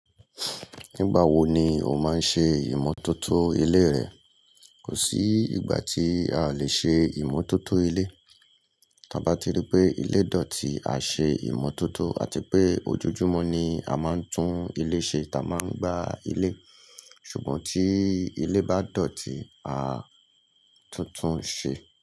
Nígbà wo ni o máa ń ṣe ìmótótó ilé rẹ? Kò sí ìgbà tí a lè ṣe ìmótótó ilé. Ta bá ti ríi pé ilé dọ̀tí, a ṣe ìmótótó àti pé ojoojúmọ́ ni a máa ń tún ilé ṣe. A máa ń gbá ilé. Ṣùgbọ́n tí ilé bá dọ̀tí, a tuntun ṣe.